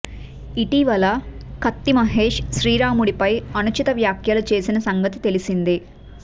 ఇటీవల కత్తి మహేష్ శ్రీ రాముడిపై అనుచిత వ్యాఖ్యలు చేసిన సంగతి తెలిసిందే